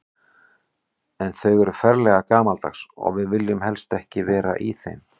En þau eru ferlega gamaldags og við viljum helst ekki vera í þeim.